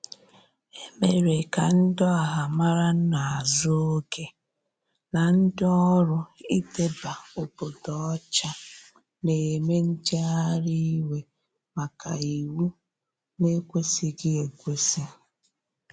Emere ka ndi ọha mara n'azu oge n' ndi ọrụ idebe obodo ocha n'eme njegharị iwe maka iwụ na ekwesighi ekwesi.